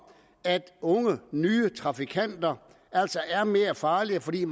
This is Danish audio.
at unge nye trafikanter altså er mere farlige fordi